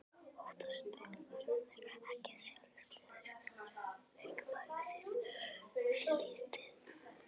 Óttast þjálfararnir ekki að sjálfstraust leikmannsins sé lítið?